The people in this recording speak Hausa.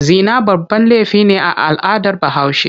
Zina babban laifi ne a al'adar Bahaushe.